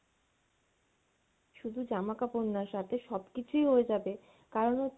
শুধু জামা কাপর না সাথে সবকিছুই হয়ে যাবে, কারন হচ্ছে